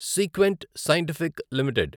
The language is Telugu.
sequent Scientific limited